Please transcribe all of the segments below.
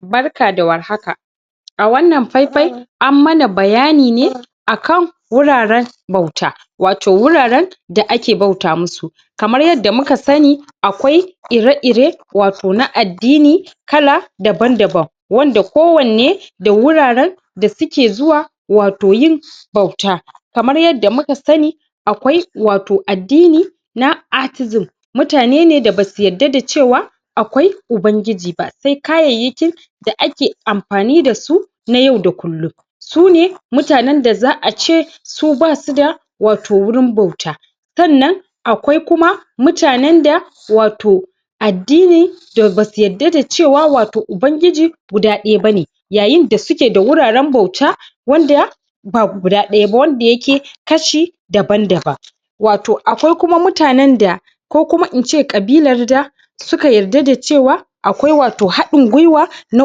Barka da warhaka! a wannan faifai ammana bayani ne akan wuraren bauta wato wuraren da ake bauta musu kamar yadda muka sani akwai ire-ire wato na addini kala daban-daban wanda kowanne da wuraren da suke zuwa wato yin bauta kamar yadda muka sani akwai wato addini na accusim mutane ne basu yarda da cewa akwai ubangiji ba sai kayyakin da ake amfani da su na yau da kullum su ne mutanen da za a ce su basu da wato wurin bauta sannan akwai kuma mutanen da wato addini da basu yarda da cewa wato ubangiji guda ɗaya ba ne yayin da suke da wuraren bauta wanda ba guda ɗaya ba wanda yake kashi daban-daban wato akwai kuma mutanen da ko kuma in ce ƙabilar da suka yarda da cewa akwai wato haɗin guiwa na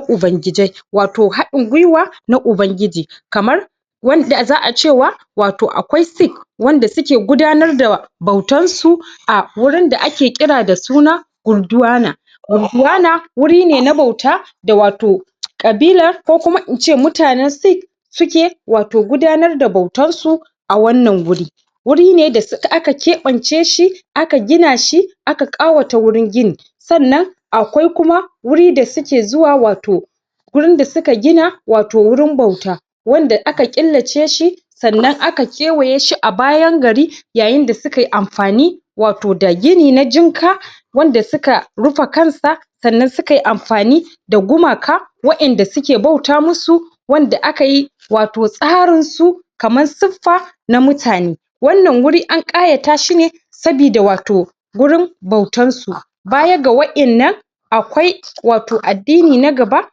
ubangijai wato haɗin guiwa na ubangiji kamar wanza a cewa wato akwai wanda suke gudanar da bautarsu a wurin da ake kira da suna Urduana urduna wuri ne na bauta da wato ƙabilar ko kuma in ce mutanen sik suke wato gudanar da bautarsu a wannan wuri wuri ne da suka aka keɓance shi aka gina shi aka ƙawata wannan ginin sannan akwai kuma wuri da suke zuwa wato wurin da suka gina wato wurin bauta wannan aka ƙillace shi sannan aka kewaye shi a bayan gari yayin da sukai amfani wato da gini na jinka wanda suka rufe kansa sannan sukai amfani da gumaka wa'yanda suke bauta musu wanda aka yi wato tsarinsu kamar siffa na mutane wannan wuri an ƙayata shi ne sabida wato wurin bautarsu baya ga wa'yannan akwai wato addini na gaba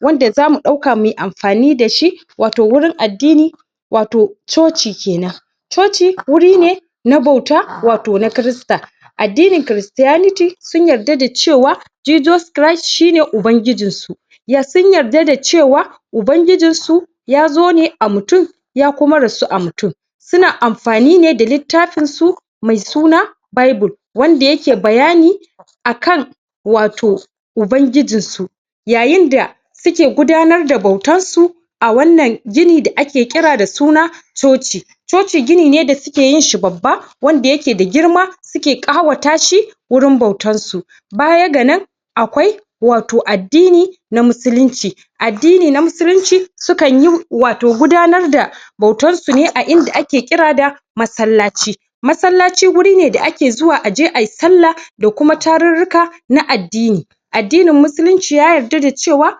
wanda za mu ɗauka mui amfani da shi wato wurin addinin wato Coci kenan Coci wuri ne na bauta wato na Kirista addinin Cristianity sun yarda da cewa Jesus cris shi ne ubangijinsu sun yarda da cewa ubangijinsu ya zo ne a mutum ya kuma rasu a mutum suna amfani ne da littafinsu mai suna Bible wanda yake bayani akan wato ubangijinsu yayinda suke gudanar da bautarsu a wannan gini da ake ƙira da suna Coci Coci gini ne da suke yin shi babba wanda yake da girma suke ƙawata shi wurin bautarsu baya ga nan akwai wato addini na muslinci addini na muslinci sukan yi wato gudanar da bautarsu a inda ake ƙira da masallaci masallaci wuri ne da ake zuwa aje ai sallah da kuma tarurruka na addini addinin muslinci ya yarda da cewa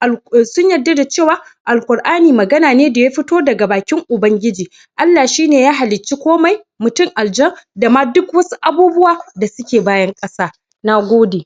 alƙ sun yarda da cewa Alƙura'ani magana ne da ya fito daka bakin ubangiji Allah shi ne ya hallacci komai mutum aljan dama duk wasu abubuwa da suke bayan ƙasa. Na gode.